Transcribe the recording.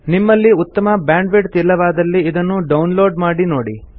ನಿಮ್ಮಲ್ಲಿ ಉತ್ತಮ ಬ್ಯಾಂಡ್ವಿಡ್ತ್ ಇಲ್ಲವಾದಲ್ಲಿ ಇದನ್ನು ಡೌನ್ ಲೋಡ್ ಮಾಡಿ ನೋಡಿ